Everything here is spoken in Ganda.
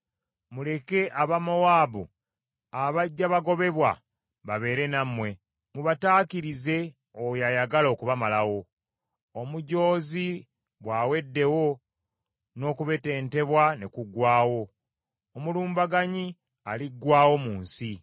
Muleke aba Mowaabu abajja bagobebwa babeere nammwe. Mubataakirize oyo ayagala okubamalawo.” Omujoozi bw’aweddewo, n’okubetentebwa ne kuggwaawo; omulumbaganyi aliggwaawo mu nsi.